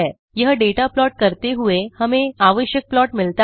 यह data plot करते हुए हमें आवश्यक प्लॉट मिलता है